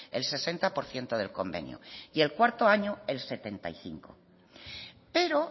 el sesenta por ciento del convenio y el cuarto año el setenta y cinco pero